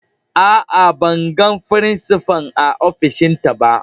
Aa, ban gan frincipa'n a ofishin ta ba.